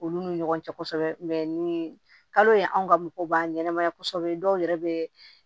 Olu ni ɲɔgɔn cɛ kosɛbɛ ni kalo ye anw ka mɔgɔw b'an ɲɛnɛmaya kɔsɛbɛ dɔw yɛrɛ bee